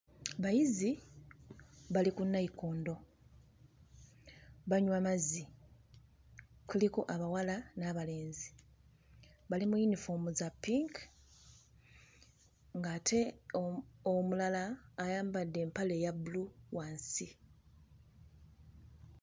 Bayizi bali ku nayikondo, banywa mazzi. Kuliko abawala n'abalenzi, bali mu yunifoomu za pinki ng'ate o... omulala ayambadde empale eya bbulu wansi.